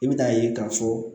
I bɛ n'a ye k'a fɔ